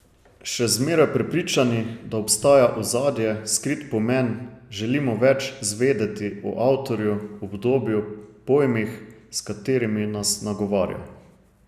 Še zmeraj prepričani, da obstaja ozadje, skrit pomen, želimo več zvedeti o avtorju, obdobju, pojmih, s katerimi nas nagovarja.